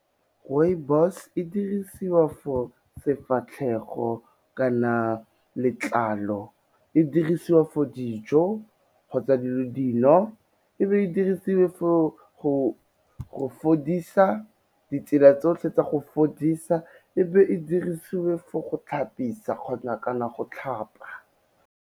Rooibos e dirisiwa for sefatlhego kana letlalo, e dirisiwa for dijo kgotsa dino, e be e dirisiwe for go fodisa, ditsela tsotlhe tsa go fodisa, e be e dirisiwe for go tlhapisa kgona kana go tlhapa.